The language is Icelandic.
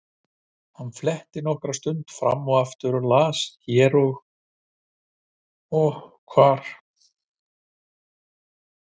Hann fletti nokkra stund fram og aftur og las hér og hvar.